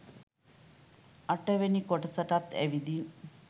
අට වෙනි කොටසටත් ඇවිදින්